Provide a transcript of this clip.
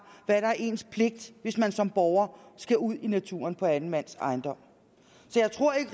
hvad der er ens pligt hvis man som borger skal ud i naturen på anden mands ejendom så jeg tror ikke